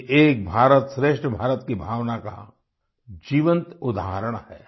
ये एक भारतश्रेष्ठ भारत की भावना का जीवन्त उदाहरण है